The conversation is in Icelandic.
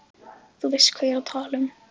Þú veist hvað ég er að tala um.